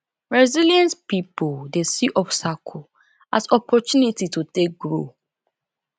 resilient pipo dey see obstacle as opportunity to take grow